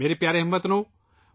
میرے پیارے ہم وطنو ،